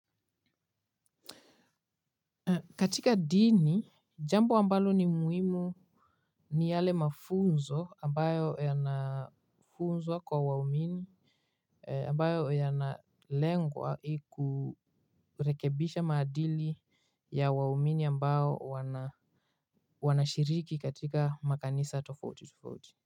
Katika dini, jambo ambalo ni muhimu ni yale mafunzo ambayo yanafunzwa kwa waumini ambayo yanalengwa kurekebisha maadili ya waumini ambayo wanashiriki katika makanisa tofauti tofauti.